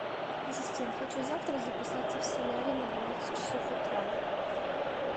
ассистент хочу завтра записаться в солярий на двенадцать часов утра